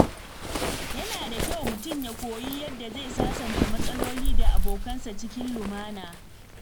Yana da kyau mutum ya koyi yadda zai sasanta matsaloli da abokansa cikin lumana.